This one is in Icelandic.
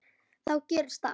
Þá gerðist allt.